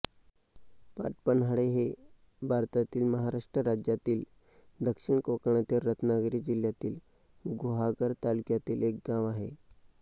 पाटपन्हाळे हे भारतातील महाराष्ट्र राज्यातील दक्षिण कोकणातील रत्नागिरी जिल्ह्यातील गुहागर तालुक्यातील एक गाव आहे